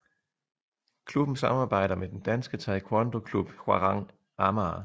Klubben samarbejder med den danske taekwondoklub Hwarang Amager